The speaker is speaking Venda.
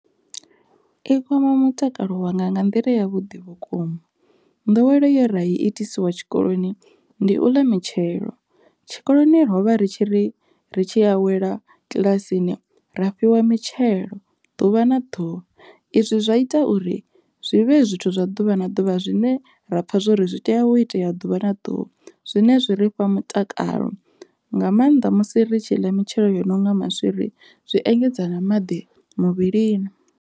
I kwama mutakalo wanga nga nḓila ya vhuḓi vhukuma, nḓowelo ye ra i itisiwa tshikoloni ndi u ḽa mitshelo. Tshikoloni rovha ri tshi ri ri tshi awela kiḽasini rofhiwa mitshelo ḓuvha na ḓuvha, izwi zwa ita uri zwivhe zwithu zwa ḓuvha na ḓuvha zwine ra pfha zwori zwi tea wo itea ḓuvha na ḓuvha zwine zwi ri fha mutakalo nga maanḓa musi ri tshi ḽa mitshelo yono nga maswiri zwi engedza na maḓi muvhilini.